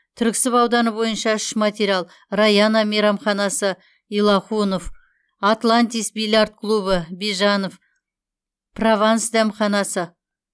түрксіб ауданы бойынша үш материал раяна мейрамханасы илахунов атлантис бильярд клубы бижанов прованс дәмханасы